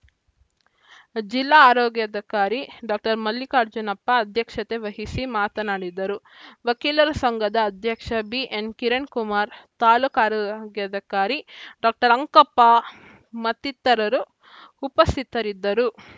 ಜಿಲ್ಲಾ ಆರೋಗ್ಯಾಧಿಕಾರಿ ಡಾಕ್ಟರ್ ಮಲ್ಲಿಕಾರ್ಜುನಪ್ಪ ಅಧ್ಯಕ್ಷತೆ ವಹಿಸಿ ಮಾತನಾಡಿದರು ವಕೀಲರ ಸಂಘದ ಅಧ್ಯಕ್ಷ ಬಿಎನ್‌ ಕಿರಣ್‌ಕುಮಾರ್‌ ತಾಲೂಕು ಆರೋಗ್ಯಾಧಿಕಾರಿ ಡಾಕ್ಟರ್ ಅಂಕಪ್ಪ ಮತ್ತಿತರರು ಉಪಸ್ಥಿತರಿದ್ದರು